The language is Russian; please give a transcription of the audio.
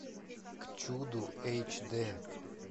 к чуду эйч дэ